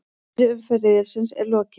Fyrri umferð riðilsins er lokið